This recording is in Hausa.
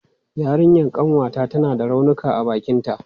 Yarinyan ƙanwata tana da raunuka a bakinta.